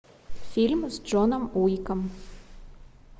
фильм с джоном уиком